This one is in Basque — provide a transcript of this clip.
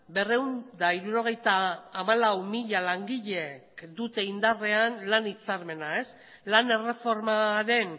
berrehun eta hirurogeita hamalau mila langileek dute indarrean lan hitzarmena lan erreformaren